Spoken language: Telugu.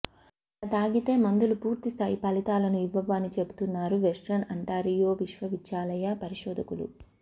అలా తాగితే మందులు పూర్తిస్థాయి ఫలితాలని ఇవ్వవు అని చెబుతున్నారు వెస్ట్రన్ అంటారియో విశ్వవిద్యాలయ పరిశోధకులు